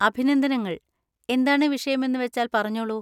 അഭിനന്ദനങ്ങൾ, എന്താണ് വിഷയമെന്നുവച്ചാല്‍ പറഞ്ഞോളൂ.